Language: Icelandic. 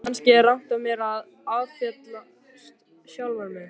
Kannski er rangt af mér að áfellast sjálfan mig.